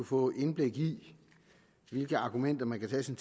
fået indblik i hvilke argumenter man kan